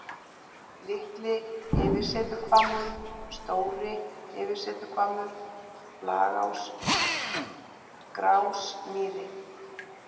Litli-Yfirsetuhvammur, Stóri-Yfirsetuhvammur, Flagás, Gráásmýri